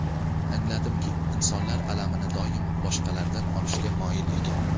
Angladimki, insonlar alamini doim boshqalardan olishga moyil ekan.